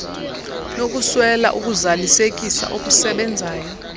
nokuswela ukuzalisekisa okusebenzayo